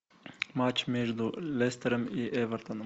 матч между лестером и эвертоном